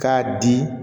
K'a di